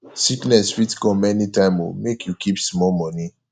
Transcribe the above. sickness fit come anytime o make you keep small moni